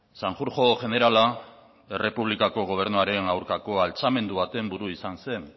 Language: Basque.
sanjurjo jenerala errepublikako gobernuaren aurkako altxamendu baten buru izan zen